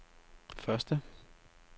første